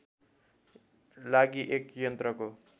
लागि एक यन्त्रको